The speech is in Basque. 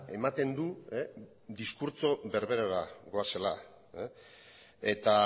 ematen du diskurtso berberera goazela eta